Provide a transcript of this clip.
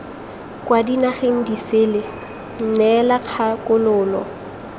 kwa dinageng disele neela kgakololo